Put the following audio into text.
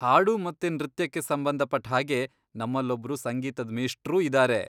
ಹಾಡು ಮತ್ತೆ ನೃತ್ಯಕ್ಕೆ ಸಂಬಂಧಪಟ್ಟ್ಹಾಗೆ ನಮ್ಮಲ್ಲೊಬ್ರು ಸಂಗೀತದ್ ಮೇಷ್ಟ್ರೂ ಇದಾರೆ.